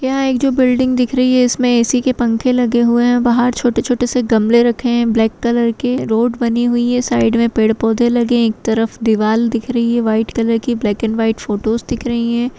यहाँ एक जो बिल्डिंग दिख रही है इसमें ए.सी के पंखे लगे हुए हैं बाहर छोटे-छोटे से गमले रखे हैं ब्लैक कलर के रोड बनी हुई है साइड में पेड़ पौधे लगे हैं एक तरफ दीवाल दिख रही है व्हाइट कलर की ब्लैक एण्ड व्हाइट फोटोस दिख रही है।